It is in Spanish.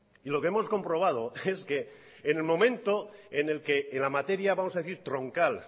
y lo que hemos comprobado es que en el momento en el que en la materia vamos a decir troncal